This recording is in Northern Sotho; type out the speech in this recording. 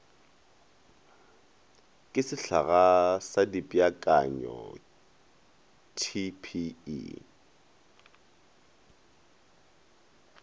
ke sehlaga sa dipeakanyo tpe